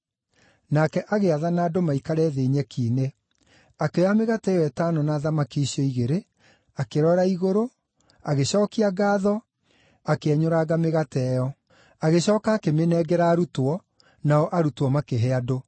Nake agĩathana andũ maikare thĩ nyeki-inĩ. Akĩoya mĩgate ĩyo ĩtano na thamaki icio igĩrĩ, akĩrora igũrũ, agĩcookia ngaatho, akĩenyũranga mĩgate ĩyo. Agĩcooka akĩmĩnengera arutwo, nao arutwo makĩhe andũ.